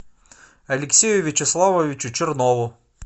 алексею вячеславовичу чернову